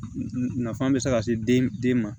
Nafan bɛ se ka se den den ma